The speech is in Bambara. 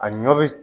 A ɲɔ bɛ